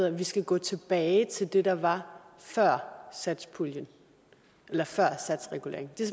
at vi skal gå tilbage til det der var før satspuljen eller før satsreguleringen det